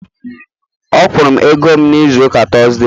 Ọ kwụrụ m ego m n'izuụka Tọzdee